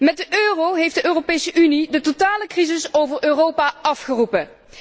Met de euro heeft de Europese Unie de totale crisis over Europa afgeroepen.